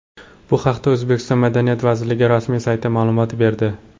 Bu haqda O‘zbekiston madaniyat vazirligi rasmiy sayti ma’lumot berdi .